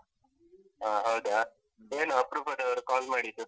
ಹಾ ಹೌದಾ, ಏನ್ ಅಪರೂಪದವ್ರು call ಮಾಡಿದ್ದು?